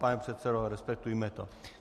Pane předsedo, respektujme to.